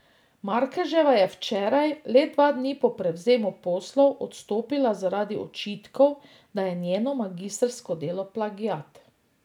Markeževa je včeraj, le dva dni po prevzemu poslov, odstopila zaradi očitkov, da je njeno magistrsko delo plagiat.